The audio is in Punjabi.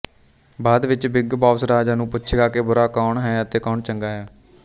ਬਾਅਦ ਵਿੱਚ ਬਿੱਗ ਬੌਸ ਰਾਜਾ ਨੂੰ ਪੁੱਛੇਗਾ ਕਿ ਬੁਰਾ ਕੌਣ ਹੈ ਅਤੇ ਕੌਣ ਚੰਗਾ ਹੈ